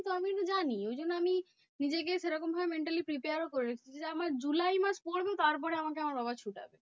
আমিতো জানি ওই জন্য আমি নিজেকে সেরকমভাবে mentally prepared ও করেছি যে, আমার জুলাই মাস পরবে তারপরে আমাকে আমার বাবা ছোটাবে।